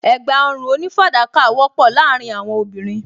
Ẹ̀gbá ọrùn onífàdákà wọ́pọ̀ láàárín àwọn obìnrin